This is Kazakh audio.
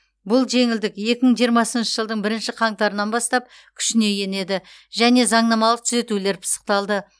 бұл жеңілдік екі мың жиырмасыншы жылдың бірінші қаңтарынан бастап күшіне енеді және заңнамалық түзетулер пысықталды